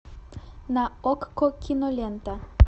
на окко кинолента